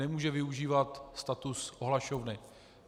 Nemůže využívat status ohlašovny.